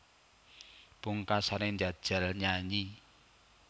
Pungkasané njajal nyanyi